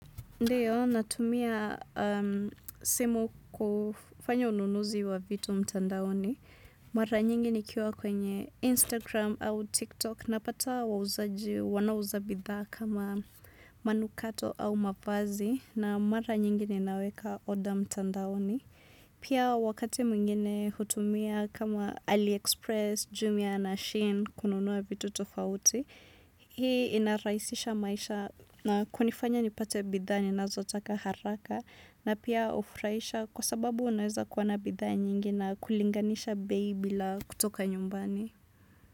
Ndiyo, natumia simu kufanya ununuzi wa vitu mtandaoni. Mara nyingi ni kiwa kwenye Instagram au TikTok. Napata wauzaji wanao uza bidha kama manukato au mavazi. Na mara nyingi ni naweka order mtandaoni. Pia wakati mwingine hutumia kama AliExpress, Jumia na Shin kununua vitu tofauti. Hii inaraisisha maisha na kunifanya nipate bidha ni nazotaka haraka na pia ufuraisha kwa sababu unaweza kuwana bidha nyingi na kulinganisha bei bila kutoka nyumbani.